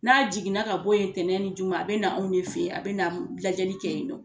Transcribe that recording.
N'a jiginna ka bɔ yen ntɛnɛn ni juma a bɛ na anw de fɛ yen a bɛ na lajɛli kɛ yen nɔ